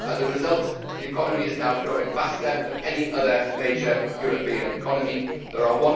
As a result, the economy is now growing faster than any other major European economy, there are